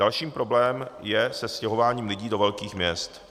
Další problém je se stěhováním lidí do velkých měst.